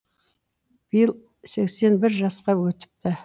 биыл сексен бір жасқа өтіпті